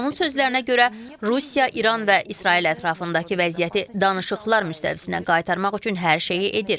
Onun sözlərinə görə Rusiya, İran və İsrail ətrafındakı vəziyyəti danışıqlar müstəvisinə qaytarmaq üçün hər şeyi edir.